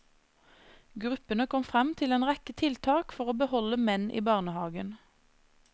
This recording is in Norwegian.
Gruppene kom frem til en rekke tiltak for å beholde menn i barnehagen.